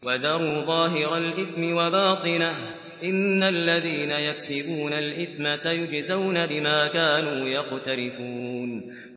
وَذَرُوا ظَاهِرَ الْإِثْمِ وَبَاطِنَهُ ۚ إِنَّ الَّذِينَ يَكْسِبُونَ الْإِثْمَ سَيُجْزَوْنَ بِمَا كَانُوا يَقْتَرِفُونَ